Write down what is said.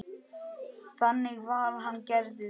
Þannig var hann gerður.